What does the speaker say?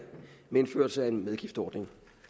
med indførelse af en medgiftsordning